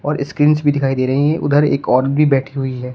Screens भी दिखाई दे रही हैं उधर एक औरत भी बैठी हुई है।